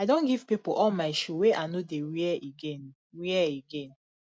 i don give pipo all my shoe wey i no dey wear again wear again